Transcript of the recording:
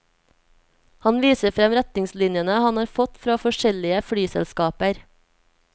Han viser frem retningslinjene han har fått fra forskjellige flyselskaper.